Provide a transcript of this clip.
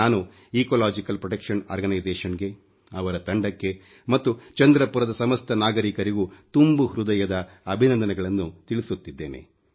ನಾನು ecological protection organisation ಗೆ ಅವರ ತಂಡಕ್ಕೆ ಮತ್ತು ಚಂದ್ರಪುರದ ಸಮಸ್ತ ನಾಗರೀಕರಿಗೂ ತುಂಬು ಹೃದಯದ ಅಭಿನಂದನೆಗಳನ್ನು ತಿಳಿಸುತ್ತಿದ್ದೇನೆ